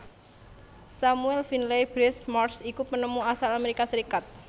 Samuel Finley Breese Morse iku penemu asal Amérika Sarékat